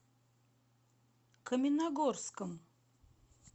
каменногорском